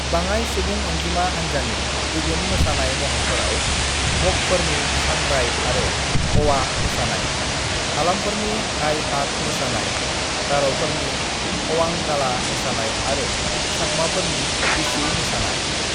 "बाङाइ सुबुं अनजिमा हानजानि गुबुन मोसानाय महरफोराव मगफोरनि सांग्राई आरो अवा मोसानाय, हालामफोरनि हाइ-हाक मोसानाय, गार'फोरनि अवांगाला मोसानाय आरो चाकमाफोरनि बिझु मोसानाय।"